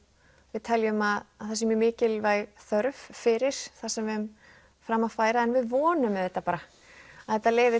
við teljum að það sé mjög mikilvæg þörf fyrir það sem við höfum fram að færa en við vonum auðvitað bara að þetta leiði